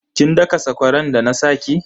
Kin daka sakwaran da na sa ki?